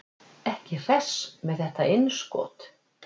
Ekki hress með þetta innskot.